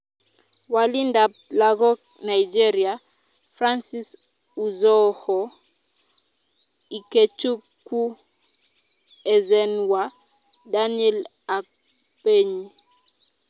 Walindab lagok Nigeria: Francis Uzoho , Ikechukwu Ezenwa , Daniel Akpeyi .